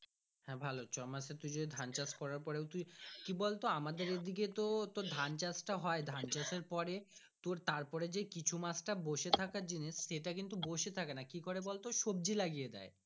হ্যাঁ ভালো ছ মাস এ তু যদি ধান চাষ করার পরে তুই কি বলতো আমাদের এইদিকে তো ধান চাষ তো হয় ধান চাষ এর পরে তোর তারপরে কিছু মাস টা বসে থেকে জিনিস সেটা কিন্তু বসে থাকে না কিকরে বলতো সবজি লাগিয়ে দেয়।